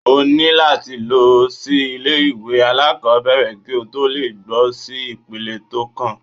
O ní láti lọ sí ilé ìwé alákòbẹ̀rẹ̀ kí o tó lè gbọ́ sí ipele tó kàn.